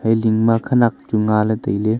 bilding ma khenak chu ngaley tailey.